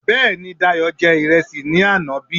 Bẹ́èni, Dayò jẹ ìrẹsì ní àná bí